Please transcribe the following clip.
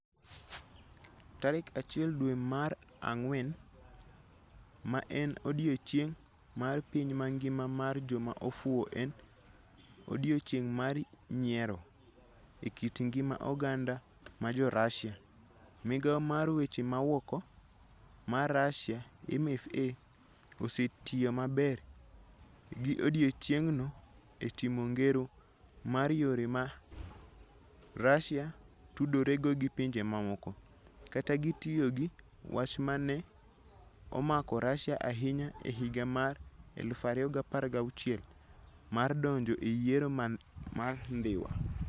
Tarik 1 dwe mara ngwen, ma en odiechieng' mar piny mangima mar joma ofuwo - en "odiechieng' mar nyiero" e kit ngima oganda mar Jo-Russia - Migawo mar Weche Maoko mar Russia (MFA) osetiyo maber gi odiechieng'no e timo ngero mar yore ma Russia tudorego gi pinje mamoko, ka gitiyo gi wach ma ne omako Russia ahinya e higa mar 2016 mar donjo e yiero mar Dhiwa.